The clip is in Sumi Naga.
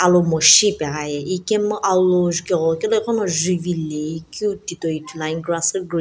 lomoshi ipeghiaye ikemu alou juke ghulokilo ighono juvilei keu titoi ithuluan grass ghi green.